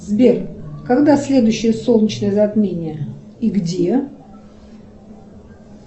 сбер когда следующее солнечное затмение и где